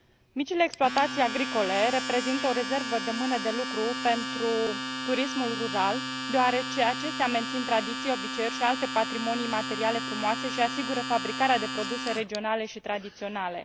Micile exploatații agricole reprezintă o rezervă de mână de lucru pentru turismul rural, deoarece acestea mențin tradiții, obiceiuri și alte patrimonii materiale frumoase și asigură fabricarea de produse regionale și tradiționale.